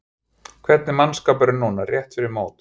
Hvernig er mannskapurinn núna rétt fyrir mót?